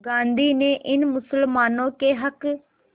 गांधी ने इन मुसलमानों के हक़